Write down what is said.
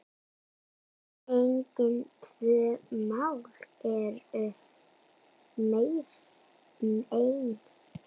Engin tvö mál eru eins.